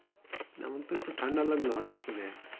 আমার তো একটু ঠান্ডা লাগলো হটাৎ করে